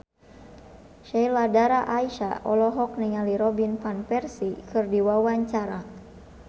Sheila Dara Aisha olohok ningali Robin Van Persie keur diwawancara